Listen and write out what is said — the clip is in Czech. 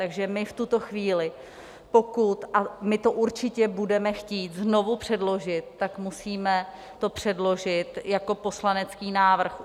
Takže my v tuto chvíli, pokud - a my to určitě budeme chtít znovu předložit - tak musíme to předložit jako poslanecký návrh.